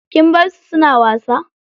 Kin barsu suna wasa?